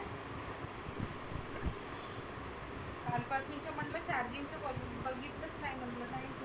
काल पासुनचं म्हटलं charging चं बघितलं नाही म्हटलं.